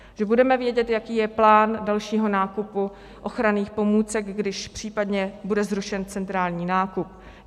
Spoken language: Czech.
Že budeme vědět, jaký je plán dalšího nákupu ochranných pomůcek, když případně bude zrušen centrální nákup.